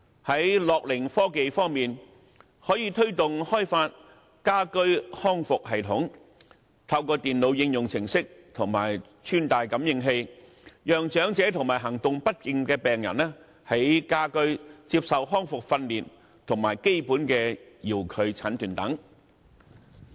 在樂齡科技方面，可以推動開發家居康復系統，透過電腦應用程式及穿戴感應器，讓長者及行動不便的病人在家居接受康復訓練和基本遙距診斷等。